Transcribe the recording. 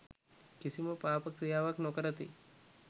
කිසිම පාප ක්‍රියාවක් නො කරති